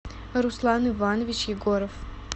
руслан иванович егоров